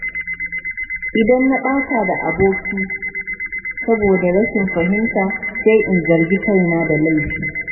Idan na ɓata da aboki saboda rashin fahimta, sai in zargi kaina da laifi.